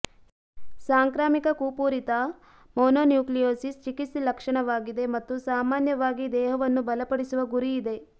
ಸಾಂಕ್ರಾಮಿಕ ಕುಪೂರಿತ ಮೋನೋನ್ಯುಕ್ಲಿಯೋಸಿಸ್ ಚಿಕಿತ್ಸೆ ಲಕ್ಷಣವಾಗಿದೆ ಮತ್ತು ಸಾಮಾನ್ಯವಾಗಿ ದೇಹವನ್ನು ಬಲಪಡಿಸುವ ಗುರಿ ಇದೆ